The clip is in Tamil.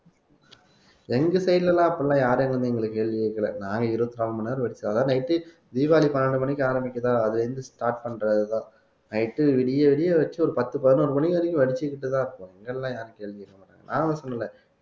எங்க side ல எல்லாம் அப்படி எல்லாம் யாரும் வந்து எங்களை கேள்வி கேக்கல நாங்க இருபத்தி நாலு மணி நேரம் வெடிச்சோம் அதான் night தீபாவளி பன்னெண்டு மணிக்கு ஆரம்பிக்குதா அதுலே இருந்து start பண்றதுதான் night விடிய விடிய வச்சு ஒரு பத்து பதினோரு மணி வரைக்கும் வெடிச்சுக்கிட்டுதான் இருப்பாங்க இதெல்லாம் யாரும் கேள்வி கேட்க மாட்டாங்க நான் ஒண்ணும் சொல்லல